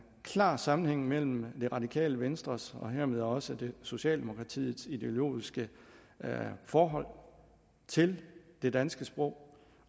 klar sammenhæng mellem det radikale venstres og hermed også socialdemokratiets ideologiske forhold til det danske sprog